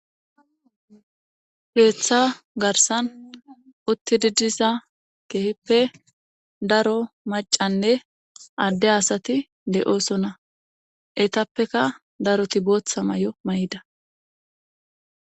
Peeththa garsan uttididisa keehippe daro macanne adde asati de'oosona etappeka daroti booththa may'o mayida.